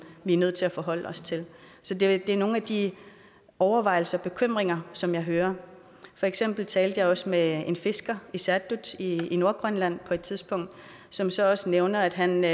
vi er nødt til at forholde os til det er nogle af de overvejelser og bekymringer som jeg hører for eksempel talte jeg også med en fisker i saattut i nordgrønland på et tidspunkt som så også nævnte at han når